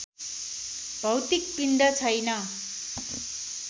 भौतिक पिण्ड छैन